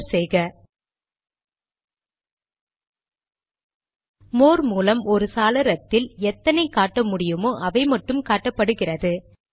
enter செய்க more மூலம் ஒரு சாளரத்தில் எத்தனை காட்ட முடியுமோ அவைமட்டும் காட்டப்படுகிறது